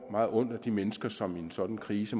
meget ondt af de mennesker som i en sådan krise